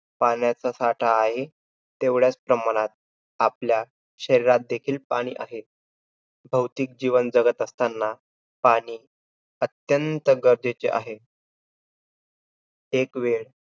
पाण्याचा साठा आहे, तेवढ्याचं प्रमाणात आपल्या शरीरात देखील पाणी आहे. भौतिक जीवन जगत असतांना पाणी अत्यंत गरजेचे आहे. एकवेळ